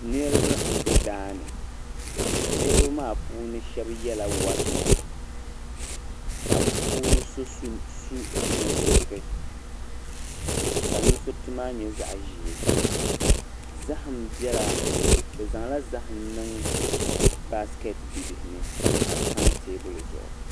Niriba m-be daa ni. Niriba maa puuni shɛba yɛla wari nɛma ka bɛ puuni so su nusuriti ka nusuriti maa nyɛ zaɣ' ʒee. Bɛ zaŋla zahim niŋ baasikɛti bibihi ni ka di tam teebuli zuɣu.